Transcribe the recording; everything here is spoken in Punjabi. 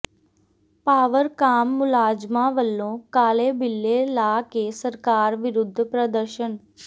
ਪਾਵਰਕਾਮ ਮੁਲਾਜ਼ਮਾਂ ਵੱਲੋਂ ਕਾਲੇ ਬਿੱਲੇ ਲਾ ਕੇ ਸਰਕਾਰ ਵਿਰੁੱਧ ਪ੍ਰਦਰਸ਼ਨ